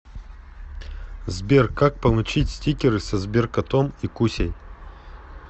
сбер как получить стикеры со сберкотом и кусей